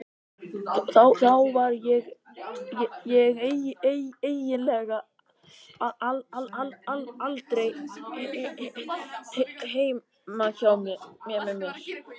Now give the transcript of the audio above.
Þá var ég eiginlega aldrei heima hjá mér.